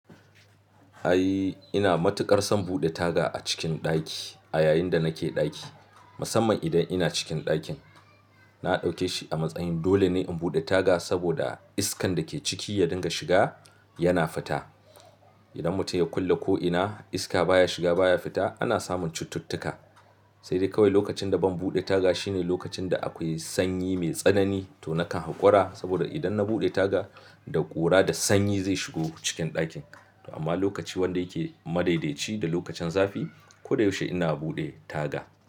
Ai ina matuƙar son buɗe taga a cikin ɗaki a yayin da nake ɗaki, musamman idan ina cikin ɗakin. Na ɗauke shi a matsayin dole ne in buɗe taga saboda iskan da ke ciki ya dinga shiga yana fita. Idan mutum ya kulle ko'ina iska baya shiga baya fita ana samun cututtuka. Sai dai kawai lokacin da ban buɗe taga shine lokacin da akwai sanyi mai tsanani to nakan hakura saboda idan na buɗe taga da ƙura da sanyi zai shigo cikin ɗakin. Amma lokaci wanda yake madaidaici da lokacin zafi ko da yaushe ina buɗe taga.